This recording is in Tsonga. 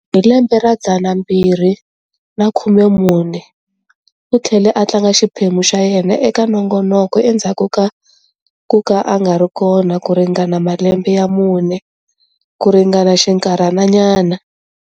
Hi lembe ra 2014, u tlhele a tlanga xiphemu xa yena eka nongonoko endzhaku ka kuka a nga ri kona ku ringana malembe ya 4 ku ringana xinkarhana nyana.